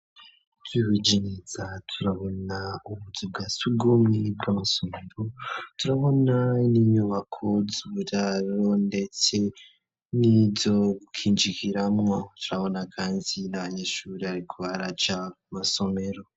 Twibujineza turabona ubuzu bwa sugumwebwe amasomero turabona n'inyubako zuburaro, ndetse n'izo gukinjikiramwo turabona kanzinabanyishuri, ariko araja masomero.